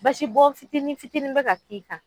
Basi bɔ fitini fitini bɛ ka k'i kan,